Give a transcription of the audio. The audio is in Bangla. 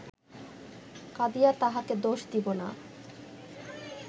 কাঁদিয়া তাঁহাকে দোষ দিব না